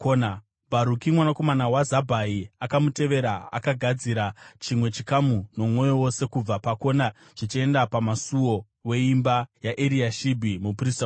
Bharuki mwanakomana waZabhai akamutevera, akagadzira chimwe chikamu nomwoyo wose kubva pakona zvichienda pamusuo weimba yaEriashibhi muprista mukuru.